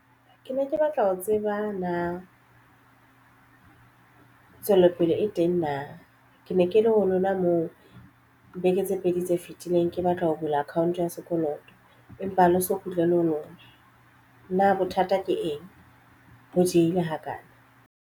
Ke ne ke batla ho tseba na tswelopele e teng na ke ne ke le ho lona moo beke tse pedi tse fitileng ke batla ho bula account ya sekoloto empa ha le so kgutlela ho lona na bothata ke eng ho diehile hakana?